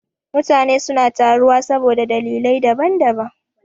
Mutane suna taruwa saboda dalilai da daban daban.